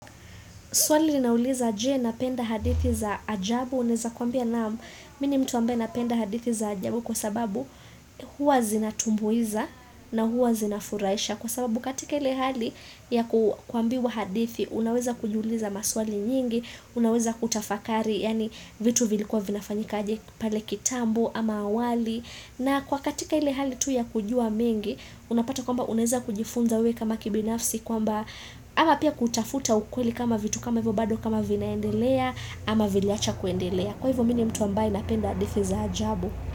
Swali linauliza, je, napenda hadithi za ajabu? Naweza kuambia naam mimi ni mtu ambaye napenda hadithi za ajabu kwa sababu huwa zinatumbuiza na huwa zinafurahisha. Kwa sababu katika ile hali ya kuambiwa hadithi, unaweza kujiuliza maswali nyingi, unaweza kutafakari yaani vitu vilikuwa vinafanyika aje pale kitambo ama awali. Na kwa katika ile hali tu ya kujua mengi, unapata kwamba unaweza kujifunza wewe kama kibinafsi kwamba Ama pia kutafuta ukweli kama vitu kama hivyo bado kama vinaendelea ama viliacha kuendelea. Kwa hivyo mimi ni mtu ambaye napenda hadithi za ajabu.